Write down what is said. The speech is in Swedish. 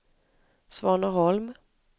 Svaneholm